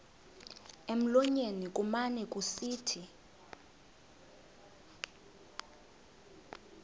emlonyeni kumane kusithi